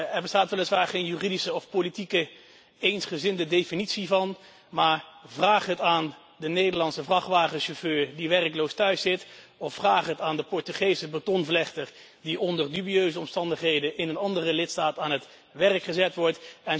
Er bestaat weliswaar geen juridische of politieke eensgezinde definitie van. Maar vraag het aan de Nederlandse vrachtwagenchauffeur die werkloos thuiszit of vraag het aan de Portugese betonvlechter die onder dubieuze omstandigheden in een andere lidstaat aan het werk gezet wordt.